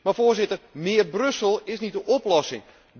Maar, Voorzitter, meer Brussel is niet de oplossing.